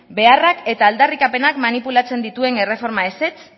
beharrak eta aldarrikapenak manipulatzen dituen erreforma ezetz